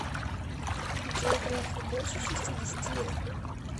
джой грефу больше шестидесяти лет